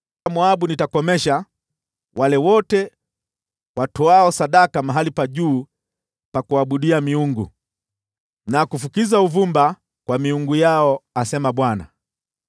Nitakomesha wale wote katika Moabu watoao sadaka mahali pa juu, na kufukiza uvumba kwa miungu yao,” asema Bwana .